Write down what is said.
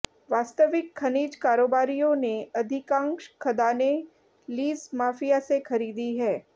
वास्तविक खनिज कारोबारियों ने अधिकांश खदानें लीज माफिया से खरीदी हैं